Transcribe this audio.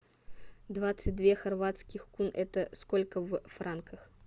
двадцать две хорватских кун это сколько в франках